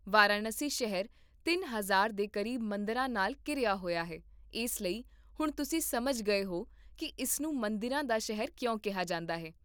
ਵਾਰਾਣਸੀ ਸ਼ਹਿਰ ਤਿਨ ਹਜ਼ਾਰ ਦੇ ਕਰੀਬ ਮੰਦਰਾਂ ਨਾਲ ਘਿਰਿਆ ਹੋਇਆ ਹੈ, ਇਸ ਲਈ ਹੁਣ ਤੁਸੀਂ ਸਮਝ ਗਏ ਹੋ ਕੀ ਇਸਨੂੰ 'ਮੰਦਿਰਾਂ ਦਾ ਸ਼ਹਿਰ' ਕਿਉਂ ਕਿਹਾ ਜਾਂਦਾ ਹੈ